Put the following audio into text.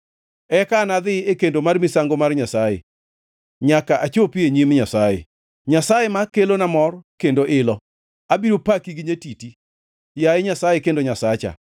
Eka anadhi e kendo mar misango mar Nyasaye, nyaka achopi e nyim Nyasaye, Nyasaye ma kelona mor kendo ilo. Abiro paki gi nyatiti, yaye Nyasaye kendo Nyasacha.